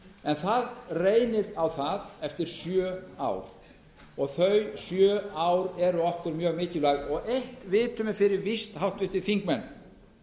en það reynir á varð eftir sjö ár og þau sjö ár eru okkur mjög mikilvæg og eitt vitum við fyrir víst háttvirtir þingmenn